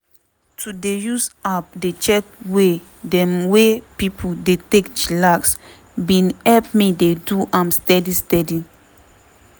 to dey use app dey check way dem wey pipo dey take chillax bin help me dey do am steady steady.